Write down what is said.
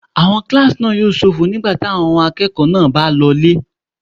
Àwọn kílásì náà yóò ṣófo nígẹ́lẹ́ tí àwọn ọmọ akẹ́kọ̀ọ́ náà bá lọ ilé